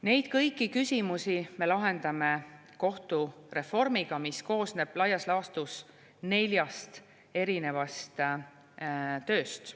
Neid kõiki küsimusi me lahendame kohtureformiga, mis koosneb laias laastus neljast erinevast tööst.